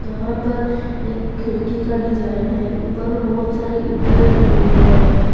यहां पर एक खिड़की का डिजाइन है ऊपर में बहुत सारे ईटा लगाए हुए हैं।